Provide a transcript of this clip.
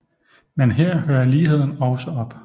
Men her hører ligheden også op